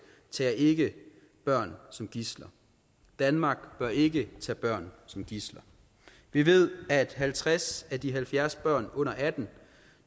tager ikke børn som gidsler danmark bør ikke tage børn som gidsler vi ved at halvtreds af de halvfjerds børn under atten